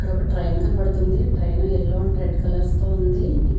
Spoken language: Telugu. ఇక్కడ ఒక ట్రైన్ కనపడతుంది train yellow and red colours తో ఉంది--